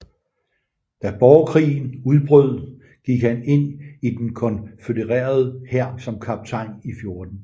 Da borgerkrigen brød ud gik han ind i den konfødererede hær som kaptajn i 14